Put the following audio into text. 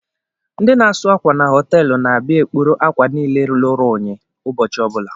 Ndị na-asu akwa n'hotelu na-abia ekporo ákwà nille lụrụ ụnyi ụbọchị ọbula.